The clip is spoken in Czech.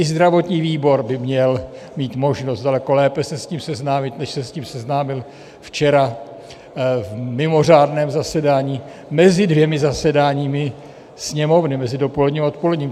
I zdravotní výbor by měl mít možnost daleko lépe se s tím seznámit, než se s tím seznámil včera v mimořádném zasedání mezi dvěma zasedáními Sněmovny, mezi dopoledním a odpoledním.